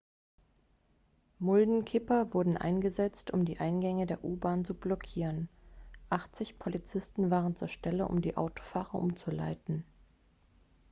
muldenkipper wurden eingesetzt um die eingänge der u-bahn zu blockieren 80 polizisten waren zur stelle um die autofahrer umzuleiten